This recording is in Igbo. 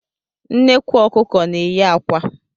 Nnekwu Ọkụkọ na-eyi akwa